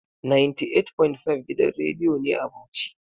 98.5 gidan radiyo ne a Bauchi.